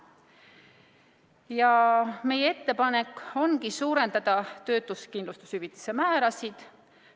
Ja meie ettepanek ongi suurendada töötuskindlustushüvitise määrasid.